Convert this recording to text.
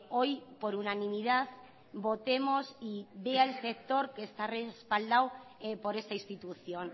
hoy por unanimidad votemos y vea el sector que está respaldado por esta institución